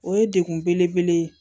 O ye dekun bele bele ye